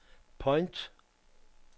point